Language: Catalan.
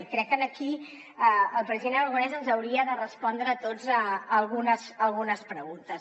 i crec que aquí el president aragonès ens hauria de respondre a tots algunes preguntes